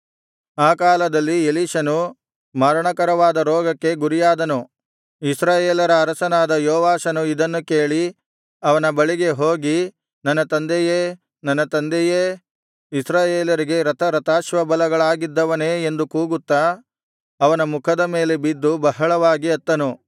ಆ ಕಾಲದಲ್ಲಿ ಎಲೀಷನು ಮರಣಕರವಾದ ರೋಗಕ್ಕೆ ಗುರಿಯಾದನು ಇಸ್ರಾಯೇಲರ ಅರಸನಾದ ಯೋವಾಷನು ಇದನ್ನು ಕೇಳಿ ಅವನ ಬಳಿಗೆ ಹೋಗಿ ನನ್ನ ತಂದೆಯೇ ನನ್ನ ತಂದೆಯೇ ಇಸ್ರಾಯೇಲರಿಗೆ ರಥರಥಾಶ್ವಬಲಗಳಾಗಿದ್ದವನೇ ಎಂದು ಕೂಗುತ್ತಾ ಅವನ ಮುಖದ ಮೇಲೆ ಬಿದ್ದು ಬಹಳವಾಗಿ ಅತ್ತನು